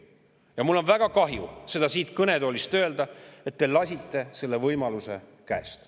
Ja mul on väga kahju seda siit kõnetoolist öelda, et te lasite selle võimaluse käest.